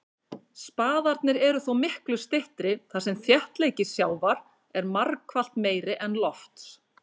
Spaðarnir eru þó miklu styttri þar sem þéttleiki sjávar er margfalt meiri en lofts.